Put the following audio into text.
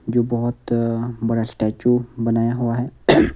जो बहुत अअ बड़ा स्टैचू बनाया हुआ है।